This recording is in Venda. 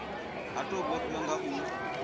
ha tou vhofhiwa nga u